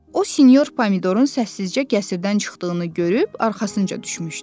O sinyor Pomidorun səssizcə qəsrdən çıxdığını görüb arxasınca düşmüşdü.